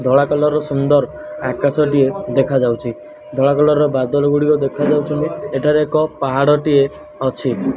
ଧଳା କଲର୍ ର ସୁନ୍ଦର ଆକାଶ ଟିଏ ଦେଖା ଯାଉଛି ଧଳା କଲର୍ ବାଦଲ ଗୁଡ଼ିକ ଦେଖା ଯାଉଛନ୍ତି ଏଠାରେ ଏକ ପାହାଡ଼ ଟିଏ ଅଛି।